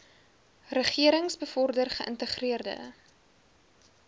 regerings bevorder geïntegreerde